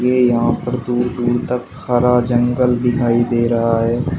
ये यहां पर दूर दूर तक हरा जंगल दिखाई दे रहा है।